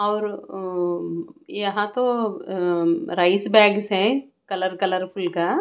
और अं यहां तो अंम राइस बैग्स हैं कलर कलरफुल का।